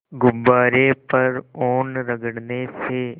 गुब्बारे पर ऊन रगड़ने से